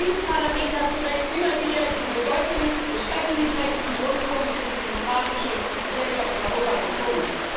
Und dieses Parlament hat zu Recht immer wieder die Bedeutung des öffentlich rechtlichen Rundfunks für die demokratische Gesellschaft in Europa betont.